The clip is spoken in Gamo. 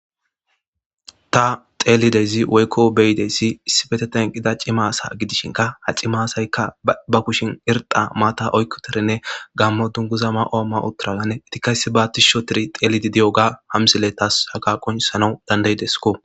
Ta xeelidezi woykko beyideyssi issibete tanqida cimasa gidishinka ha cimasaykka ba kushin irxa maata oykkoterenne gammo dunguza ma'oomma utturalanne itikayssi baattis shotiri xeelidi diyoga hamsile taas haga qonsanau dandayidesko.